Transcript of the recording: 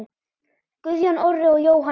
Guðjón Orri og Jóhann Örn.